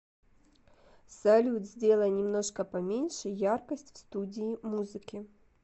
салют сделай немножко поменьше яркость в студии музыки